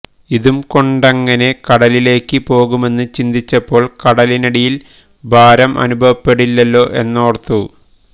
ഇതുംകൊണ്ടെങ്ങനെ കടലിലേക്ക് പോകുമെന്ന് ചിന്തിച്ചപ്പോള് കടലിന്നടിയില് ഭാരം അനുഭവപ്പെടില്ലല്ലോ എന്നോര്ത്തു